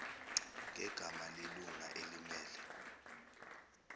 ngegama lelunga elimmele